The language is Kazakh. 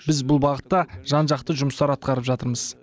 біз бұл бағытта жан жақты жұмыстар атқарып жатырмыз